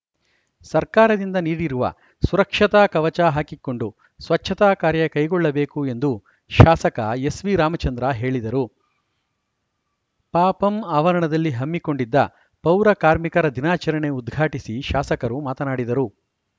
ಸರ್ಕಾರದಿಂದ ನೀಡಿರುವ ಸುರಕ್ಷತಾ ಕವಚ ಹಾಕಿಕೊಂಡು ಸ್ವಚ್ಛತಾಕಾರ್ಯ ಕೈಗೊಳ್ಳಬೇಕು ಎಂದು ಶಾಸಕ ಎಸ್‌ವಿ ರಾಮಚಂದ್ರ ಹೇಳಿದರು ಪಪಂ ಆವರಣದಲ್ಲಿ ಹಮ್ಮಿಕೊಂಡಿದ್ದ ಪೌರಕಾರ್ಮಿಕರ ದಿನಾಚರಣೆ ಉದ್ಘಾಟಿಸಿ ಶಾಸಕರು ಮಾತನಾಡಿದರು